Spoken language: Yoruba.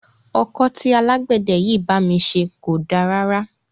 Ọkọ́ tí alágbẹ̀dẹ yìí bá mi ṣe kò da rárá.